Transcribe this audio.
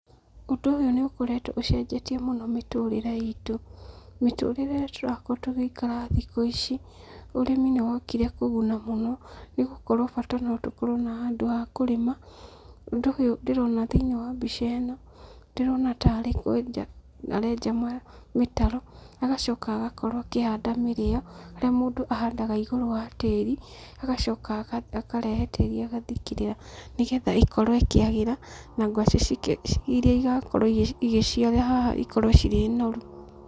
Ũndũ ũyũ nĩ ũkoretwo ũcenjetie mũno mĩtũrĩre itũ, mĩtũrĩre ĩrĩa tũrakorwo tũgĩikara thikũ ici, ũrĩmi nĩ wokire kũguna mũno, nĩ gũkorwo bata no tũkorwo na handũ ha kũrĩma, ũndũ ũyũ ndĩrona thĩinĩ wa mbica ĩno, ndĩrona tarĩ kwenja arenja mĩtaro, agacoka agakorwo akĩhanda mĩrĩo, harĩa mũndũ ahandaga igũrũ wa tĩri, agacoka akarehe tĩri agathikĩrĩra, nĩgetha ĩkorwo ĩkĩagĩra na ngwacĩ iria igakorwo igĩciara haha ikorwo cirĩ noru.